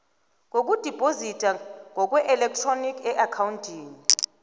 ngokudibhozidwa ngokweelektroniki eakhawuntini